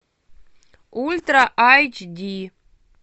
ультра айч ди